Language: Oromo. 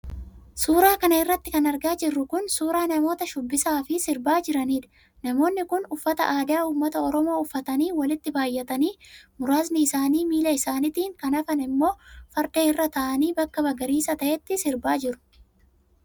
Suura kana irratti kan argaa jirru kun, suura namoota shubbisaa fi sirbaa jiraniidha. Namoonni kun, uffata adaa ummata oromoo uffatanii, walitti baay'atanii, muraasni isaanii miila isaaniitin, kan hafan ammoo farda irra ta'anii bakka magariisa ta'etti sirbaa jiru.